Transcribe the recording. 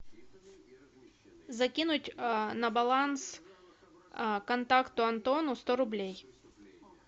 закинуть на баланс контакту антону сто рублей